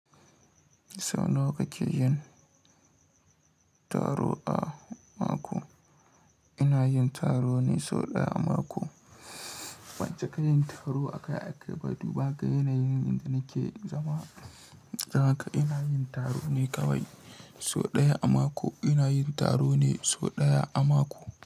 Sau nawa kake yin taro a mako? Ina yin taro ne sau ɗaya a mako. Banci ka yin taro akai-akai ba. Duba ga yanayin inda nake zama. Danhaka ina yin taro ne kawai sau ɗaya a mako. Ina yin taro ne sau ɗaya a mako.